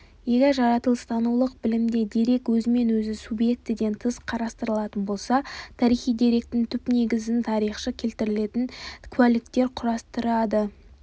егер жаратылыстанулық білімде дерек өзімен өзі субъектіден тыс қарастырылатын болса тарихи деректің түпнегізін тарихшы келтіретін куәліктер құрастырады